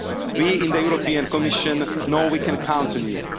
this agreement fast. We in the European Commission know that